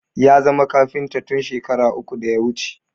Ya zama kafinta tun shekara uku da ya wuce